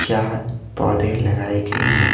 चार पौधे लगाए गए हैं।